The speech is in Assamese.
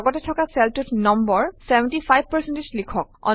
লগতে থকা চেলটোত নম্বৰ 75 লিখক